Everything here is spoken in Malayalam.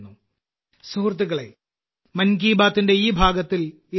സുഹൃത്തുക്കളേ മൻ കി ബാത്തിന്റെ ഈ ഭാഗത്തിൽ ഇത്രമാത്രം